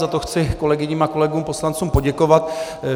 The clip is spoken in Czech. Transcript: Za to chci kolegyním a kolegům poslancům poděkovat.